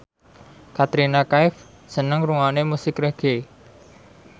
Katrina Kaif seneng ngrungokne musik reggae